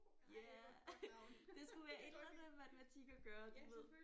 Ja det skulle være et eller andet matematik at gøre du ved